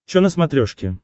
че на смотрешке